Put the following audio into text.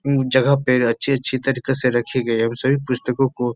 उन जगह पे अच्छी अच्छी तरीके से रखी गयी है। उन सभी पुस्तकों को --